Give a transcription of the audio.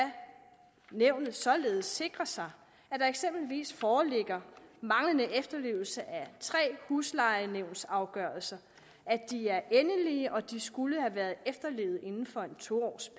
nævnet således sikre sig at der eksempelvis foreligger manglende efterlevelse af tre huslejenævnsafgørelser at de er endelige og at de skulle have været efterlevet inden for en to års